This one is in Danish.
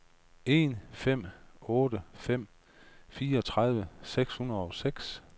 en fem otte fem fireogtredive seks hundrede og seks